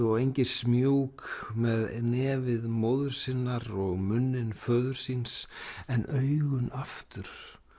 og með nefið móður sinnar og munninn föður síns en augun aftur